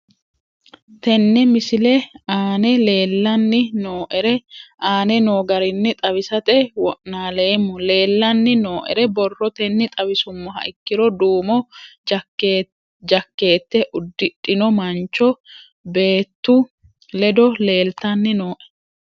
Tene misile aana leelanni nooerre aane noo garinni xawisate wonaaleemmo. Leelanni nooerre borrotenni xawisummoha ikkiro duumo jankeete ududhino mancho beetu leddo leeltanni nooe.